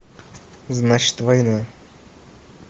значит война